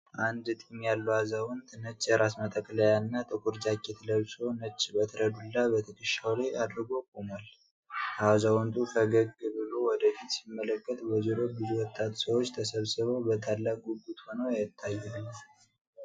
አንድ ጢም ያለው አዛውንት ነጭ የራስ መጠቅለያና ጥቁር ጃኬት ለብሶ፣ ነጭ በትረ-ዱላ በትከሻው ላይ አድርጎ ቆሟል። አዛውንቱ ፈገግ ብሎ ወደ ፊት ሲመለከት፣ በዙሪያው ብዙ ወጣት ሰዎች ተሰብስበው በታላቅ ጉጉት ሆነው ይታያሉ።